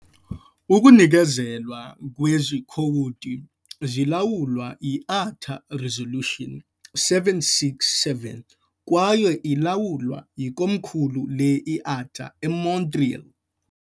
Ukunikezelwa kwezi khowudi zilawulwa yi-ATA Resolution 767, kwaye ilawulwa yikomkhulu le-IATA eMontreal.